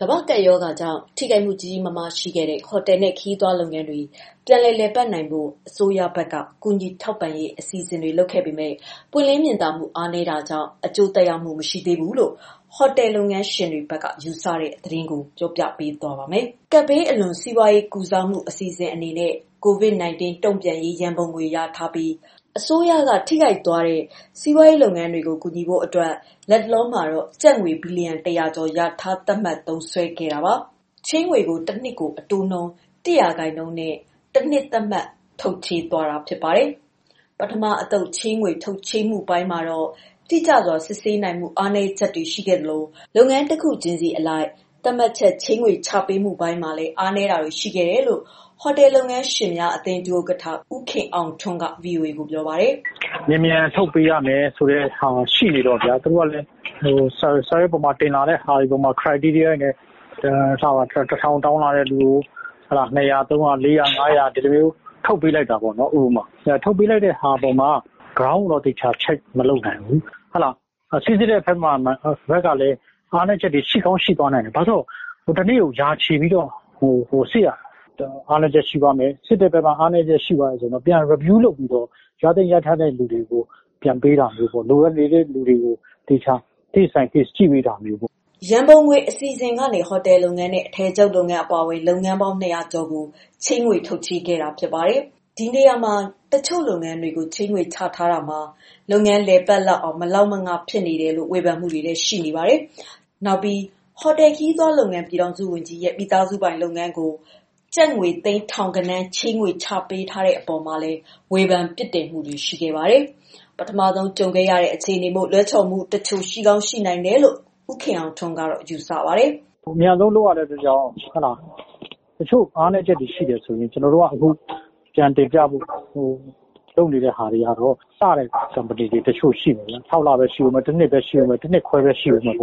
ကမ္ဘာ့ကပ်ရောဂါကြောင့် ထိခိုက်မှုကြီးကြီးမားမားရှိခဲ့တဲ့ ဟိုတယ်နဲ့ ခရီးသွားလုပ်ငန်းတွေ ပြန်လည်ပတ်နိုင်ဖို့ အစိုးရက ကူညီထောက်ပံ့ရေးအစီအစဉ်လုပ်ပေမယ့်၊ ပွင့်လင်းမြင်သာမှု အားနည်းတာကြောင့် အကျိုးသက်ရောက်မှုမရှိသေးဘူးလို့ ဟိုတယ်လုပ်ငန်းရှင်တွေဘက်က ယူဆပါတယ်။ ဒီသတင်းကို မမေခ ပြောပြမှာပါ။ ကပ်ဘေးအလွန်စီးပွားရေးကုစားမှု အစီအစဉ်အဖြစ်နဲ့ COVID-19 တုံ့ပြန်ရေး ရန်ပုံငွေလျာထားပြီး အစိုးရက ထိခိုက်သွားတဲ့ စီးပွားရေးလုပ်ငန်းတွေကို ကူညီဖို့ လတ်တလောမှာ ကျပ်ငွေ ဘီလီယံတရာ ကျော် လျာထားသတ်မှတ်သုံးစွဲနေတာပါ။ ချေးငွေကို တနှစ်ကို အတိုးနှှုန်း ၁ ရာခိုင်နှုန်းနဲ့ တနှစ်သတ်မှတ် ထုတ်ချေးတာပါ။ ပထမအသုတ် ချေးငွေထုတ်ချေးမှုပိုင်းမှာ တိကျစွာစစ်ဆေးနိုင်မှု အားနည်းချက်တွေ ရှိခဲ့သလို လုပ်ငန်းတခုချင်း ဆီအလိုက် သတ်မှတ်ချက် ချေးငွေ ချပေးမှုပိုင်းမှာလည်း အားနည်းတာတွေ ရှိခဲ့တယ်လို့ ဟိုတယ်လုပ်ငန်းရှင်များ အသင်းဒုဥက္ကဌ ဦးခင်အောင်ထွန်း က VOA ကို ပြောပါတယ်။ “မြန်မြန်ထုတ်ပေးရမယ်ဆိုတာ ရှိနေတော့ သူတို့ကလည်း စာရွက်ပေါ်မှာ တင်လာတဲ့ Criteria တွေနဲ့ ထားပါတော့..တထောင် တောင်းတဲ့လူကို ၂၀၀-၃၀၀ ဒီလိုမျိုး ထုတ်ပေးလိုက်တာပေါ့နော်။ ထုတ်ပေးလိုက်တဲ့အပေါ်မှာ Ground ကိုတော့ သေချာ check မလုပ်နိုင်ဘူး။ စိစစ်တဲ့ဘက်ကလည်း အားနည်းချက်တွေ ရှိကောင်း ရှိသွားနိုင်တယ်၊ ဘာကြောင့်လဲဆိုတော့တနေ့ကို ရာချီပြီးတော့ စစ်ရတာ။ စစ်တဲ့ဘက်က အားနည်းချက်ရှိသွားမယ်ဆိုရင်တော့ ပြန် review လုပ်ပြီးတော့ ရသင့်ရထိုက်တဲ့သူကို ပြန်ပေးတာမျိုး၊ လိုအပ်နေတဲ့လူတွေကို case by case ကြည့်ပေးတာမျိုးပေါ့။” ရန်ပုံငွေအစီအစဉ်ကနေ ဟိုတယ်လုပ်ငန်းနဲ့အထည်ချုပ်လုပ်ငန်းအပါအဝင် လုပ်ငန်းပေါင်း ၂၀၀ကျော်ကို ချေးငွေ ထုတ်ချေးခဲ့ပြီးဖြစ်ပါတယ်။ ဒီနေရာမှာ အချို့လုပ်ငန်းတွေကို ချေးငွေချထားပေးမှုမှာ လုပ်ငန်းလည်ပတ်လောက်အောင် မလောက်မင ဖြစ်တယ်လို့ ဝေဖန်မှုတွေရှိပါတယ်။ ဒါ့အပြင် ဟိုတယ်ခရီးသွားလုပ်ငန်း ပြည်ထောင်စုဝန်ကြီးရဲ့ မိသားစုပိုင်လုပ်ငန်းကို ကျပ်ငွေသိန်းထောင်ဂဏန်း ချေးငွေချပေးတဲ့အပေါ်မှာလည်း ဝေဖန် ပြစ်တင်မှုတွေရှိနေပါတယ်။ ပထမဆုံး ကြုံရတဲ့အခြေအနေမို့ လွဲချော်မှုအချို့ ရှိကောင်းရှိနိုင်တယ်လို့ ဦးခင်အောင်ထွန်းက ယူဆပါတယ်။ “ အမြန်လုပ်ရတာမို့ တချို့အာနည်းတာတွေ ရှိတာကို ကျနော်တို့က ပြန်တင်ပြဖို့ လုပ်နေတာတွေကတော့ စတဲ့ company လုပ်ငန်းတွေ တချို့ရှိတယ်။ ၆ လ ပဲ ရှိဦးမယ်၊ ၁ နှစ်ပဲ ရှိဦးမယ် ၊ ၁ နှစ်ခွဲ ပဲ ရှိဦးမယ် အဲ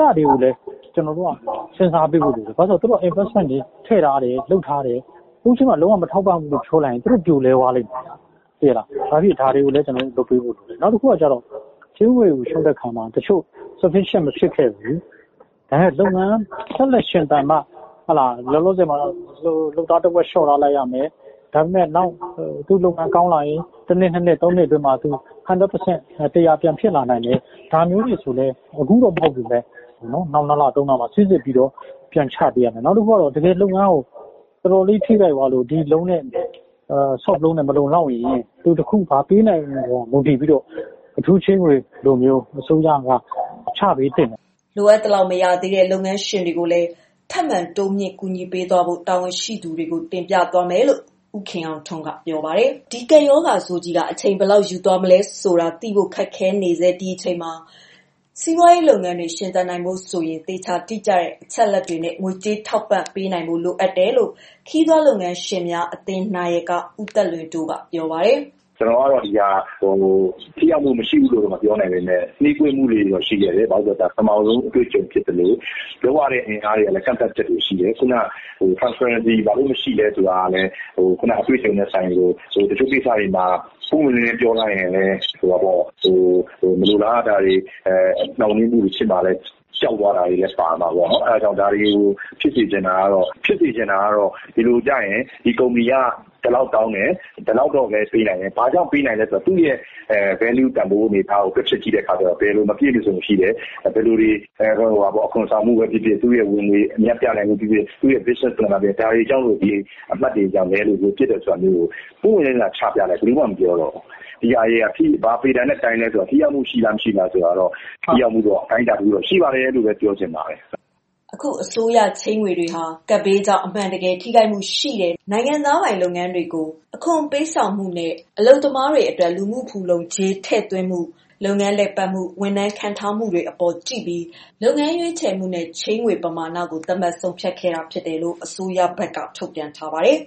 ဒါတွေကိုလည်း ကျနော်တို့က စဉ်းစားပေးဖို့လိုတယ် ဘာကြောင့်လဲဆိုတော့ သူတို့က investment ထည့်ထားတယ် ၊ လုပ်ထားတယ်၊ အခုအချိန်မှာ လုံး၀ မထောက်ပံ့ဘူးဆိုရင် သူတို့ ပြိုလဲသွားမယ်။ ဒါတွေကိုလည်း လုပ်ပေးဖို့လိုတယ်။ နောက်တခုကတော့ ချေးငွေကို လျှောက်တဲ့အခါမှာ တချို့ sufficient မဖြစ်ခဲ့ဘူး ဒါတွေက လုပ်ငန်း ဆက်လက်ရှင်သန်မှာ လောလောဆည်မှာတော့ လုပ်သားအင်အားတဝက်တော့ လျော့ရမယ် နောက်သူ့လုပ်ငန်း ကောင်းလာရင် ၂ နှစ်- ၃ နှစ်အတွင်းမှာ ၁၀၀ ရာခိုင်နှုန်း ပြန်ဖြစ်လာနိုင်တယ်။ ဒါမျိုးတွေဆိုရင်လည်း အခုတော့ မဟုတ်ပေမယ့် နောက် ၂ လ-၃ လမှာ စိစစ်ပြီးတော့ ပြန်ချပေးရမယ်။ နောက်တခုကတော့ တကယ်လုပ်ငန်းကို ထိခိုက်သွားပြီးတော့ ဒီ ချေးငွေနဲ့ မလုံလောက်ရင် ဘာပေးနိုင်မလဲဆိုတာအပေါ်မှာ မူတည်ပြီးတော့ အထူးချေးငွေလိုမျိုး အစိုးရက ချပေးသင့်တယ်။” လိုအပ်သလောက် မရသေးတဲ့ လုပ်ငန်းရှင်တွေကိုလည်း ထပ်မံတိုးမြင့်ကူညီသွားဖို့ တာဝန်ရှိ သူတွေကို တင်ပြထားတယ်လို့လည်း ဦးခင်အောင်ထွန်းက ပြောပါတယ်။ ကပ်ရောဂါဆိုးကြီးက အချိန်ဘယ်လောက်ယူသွားမလဲဆိုတာ သိဖို့ခက်ခဲနေဆဲ ဒီအချိန်မှာ စီးပွားရေးလုပ်ငန်းတွေ ရှင်သန်နိုင်ဖို့ဆိုရင် သေချာတိကျတဲ့ အချက်အလက်တွေနဲ့ ငွေကြေးထောက်ပံ့ ပေးနိုင်ဖို့လိုတယ်လို့ ခရီးသွားလုပ်ငန်းရှင်အသင်း နာယက ဦးသက်လွင်တိုးက ပြောပါတယ်။ “ ကျနော်ကတော့ ဒါကို ထိရောက်မှုမရှိဘူးလို့ မပြောနိုင်ပေမယ့် နှေးကွေးမှုတွေတော့ရှိခဲ့တယ်၊ ဘာဖြစ်လို့လဲဆိုတော့ ဒါက ပထမဦးဆုံးအတွေ့အကြုံဖြစ်သလို လုပ်ရတဲ့ အင်အားတွေကလည်း ကန့်သတ်ချက်တွေရှိတယ်။ Transparency ဘာလို့ မရှိသလဲဆိုတာက ခုနက အတွေ့အကြုံနဲ့ ဆိုင်သလို တချို့ကိစ္စတွေမှာ ပွင့်ပွင့်လင်းလင်းပြောရင်လည်း မလိုလားအပ်တာတွေ နှောင့်နှေးမူတွေဖြစ်မှာ ကြောက်သွားတာတို့တွေလည်း ပါမှာပေါ့နော်။ အဲဒါကြောင့် ဒါတွေကို ဖြစ်စေချင်တာကတော့ ဒီကုမ္ပဏီက ဒီလောက်တောင်းတယ် ၊ ဒီလောက်ပဲ ပေးနိုင်တယ် ဘာကြောင့်ပေးနိုင်သလဲဆိုတာ သူ့ရဲ့ Value အနေအထားကို တွက်ချက်ကြည့်တဲ့အခါကျတော့ ဘာတွေ မပြည့်တာတွေရှိတယ်။ အခွန်ဆောင်တာပဲဖြစ်ဖြစ် သူ့ရဲ့ ဝင်ငွေ အမြတ်ပြတာပဲ ဖြစ်ဖြစ် သူ့ရဲ့ Business plan တွေပဲ ဖြစ်ဖြစ် ဒါတွေကြောင့် အမှတ်တွေ နည်းနေလို့ ဖြစ်တယ်ဆိုတာမျိုးကို ပွင့်ပွင့်လင်းလင်းလာချပြရင် ဘယ်သူမှ မပြောတော့ဘူး။ဒါတွေဟာ ဘာပေတံနဲ့ တိုင်းသလဲဆိုတာ ထိရောက်မှုရှိမရှိဆိုတာကတော့ ထိရောက်မှု အတိုင်းအတာ တခုတော့ ရှိပါတယ် ဆိုတာပဲ ပြောချင်ပါတယ်။” အခု အစိုးရချေးငွေတွေဟာ ကပ်ဘေးကြောင့် အမှန်တကယ် ထိခိုက်မှုရှိတဲ့ နိုင်ငံသားပိုင်လုပ်ငန်း တွေ ကို ချေးပေးတာဖြစ်ပါတယ်။ အခွန်ပေးဆောင်မှု၊ အလုပ်သမားတွေအတွက် လူမှုဖူလုံကြေးထည့်သွင်းမှု၊ လုပ်ငန်းလည်ပတ်မှု၊ ဝန်ထမ်းခန့်ထားမှုတွေအပေါ်တွေကိုကြည့်ပြီး လုပ်ငန်းရွေးချယ်မှုနဲ့ ချေးငွေပမာဏကို သတ်မှတ်ဆုံးဖြတ်တယ်လို့ အစိုးရဘက်က ထုတ်ပြန်ထားပါတယ်။